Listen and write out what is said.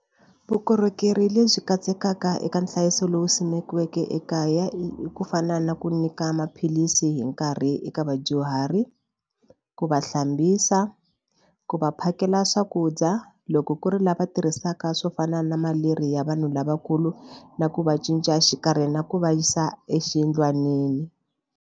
Vukorhokeri lebyi katsekaka eka nhlayiso lowu simikiweke ekaya i ku fana na ku nyika maphilisi hi nkarhi eka vadyuhari ku va hlambisa ku va phakela swakudya loko ku ri lava tirhisaka swo fana na maleri ya vanhu lavakulu na ku va cinca xikarhi na ku va yisa exiyindlwanini.